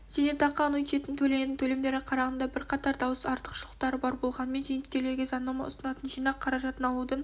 зейнетақы аннуитетінің төленетін төлемдерге қарағанда бірқатар даусыз артықшылықтары бар болғанмен зейнеткерлерге заңнама ұсынатын жинақ қаражатын алудың